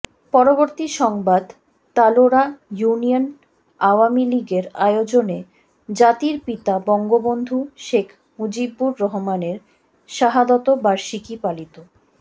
পরবর্তী সংবাদ তালোড়া ইউনিয়ন আওয়ামীলীগের আয়োজনে জাতির পিতা বঙ্গবন্ধু শেখ মুজিবুর রহমানের শাহাদত বার্ষিকী পালিত